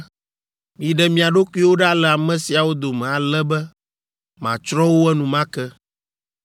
“Miɖe mia ɖokuiwo ɖa le ame siawo dome ale be matsrɔ̃ wo enumake.”